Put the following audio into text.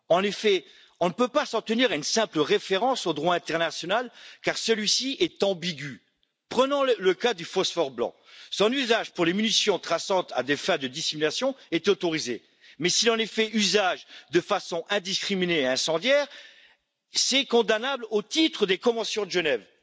En effet, on ne peut pas s'en tenir à une simple référence au droit international, car celui ci est ambigu. Prenons le cas du phosphore blanc son usage pour les munitions traçantes à des fins de dissimulation est autorisé, mais s'il en est fait usage de façon indiscriminée et incendiaire, c'est condamnable au titre des conventions de Genève.